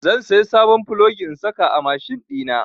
Zan saya sabon plogi in saka a mashin ɗina.